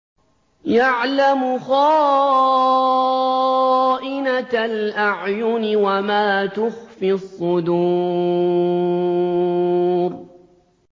يَعْلَمُ خَائِنَةَ الْأَعْيُنِ وَمَا تُخْفِي الصُّدُورُ